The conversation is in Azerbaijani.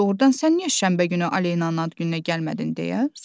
Doğrudan sən niyə şənbə günü Alenanın ad gününə gəlmədin?